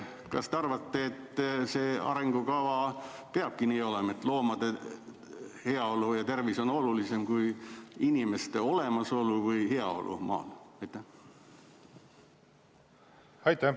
Kas te arvate, et arengukavas peabki nii olema, et loomade heaolu ja tervis on olulisem kui inimeste olemasolu või heaolu maal?